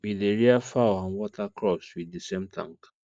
we dey rear fowl and water crops with the same tank